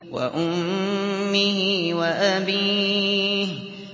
وَأُمِّهِ وَأَبِيهِ